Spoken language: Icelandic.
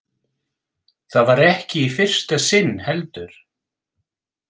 Það var ekki í fyrsta sinn, heldur.